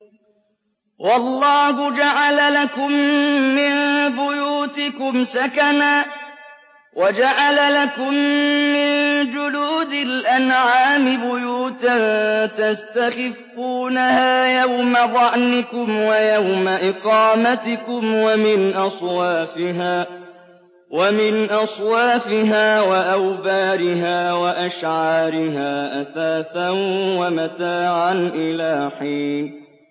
وَاللَّهُ جَعَلَ لَكُم مِّن بُيُوتِكُمْ سَكَنًا وَجَعَلَ لَكُم مِّن جُلُودِ الْأَنْعَامِ بُيُوتًا تَسْتَخِفُّونَهَا يَوْمَ ظَعْنِكُمْ وَيَوْمَ إِقَامَتِكُمْ ۙ وَمِنْ أَصْوَافِهَا وَأَوْبَارِهَا وَأَشْعَارِهَا أَثَاثًا وَمَتَاعًا إِلَىٰ حِينٍ